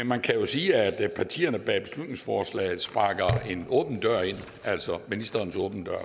man kan sige at partierne bag beslutningsforslaget sparker en åben dør ind altså ministerens åbne dør